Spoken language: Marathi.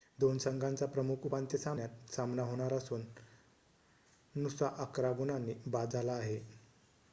2 संघांचा प्रमुख उपांत्य सामन्यात सामना होणार असून नुसा 11 गुणांनी बाद झाला आहे